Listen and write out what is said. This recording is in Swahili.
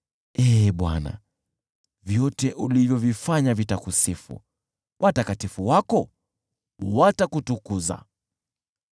Ee Bwana , vyote ulivyovifanya vitakusifu, watakatifu wako watakutukuza.